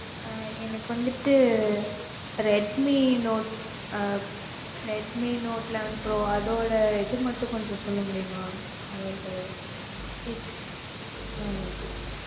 அஹ் எனக்கு வந்துட்டு redmi note அஹ் redmi note eleven pro அதோட இது மட்டும் கொஞ்சம் சொல்ல முடியுமா? அதோட details ஹான் okay